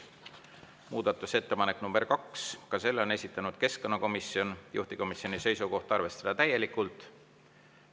Muudatusettepanek nr 2, selle on esitanud keskkonnakomisjon, juhtivkomisjoni seisukoht on arvestada täielikult.